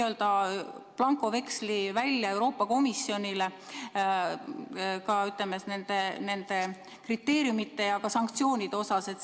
Me anname Euroopa Komisjonile n-ö blankoveksli ka nende kriteeriumide ja sanktsioonide suhtes.